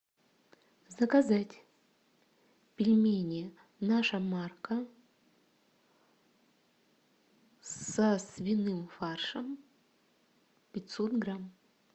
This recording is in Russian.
заказать пельмени наша марка со свиным фаршем пятьсот грамм